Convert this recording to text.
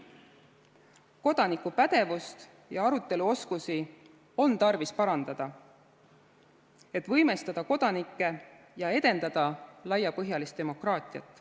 Kodanikupädevust ja aruteluoskusi on tarvis parandada, et võimestada kodanikke ja edendada laiapõhjalist demokraatiat.